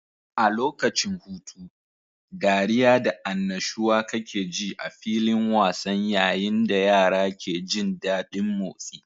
A lokacin hutu, dariya da annashuwa kakeji a filin wasan yayin da yara ke jin daɗin motsi.